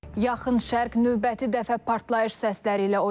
Yaxın Şərq növbəti dəfə partlayış səsləri ilə oyandı.